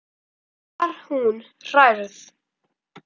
Þá var hún hrærð.